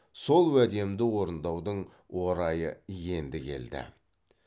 сол уәдемді орындаудың орайы енді келді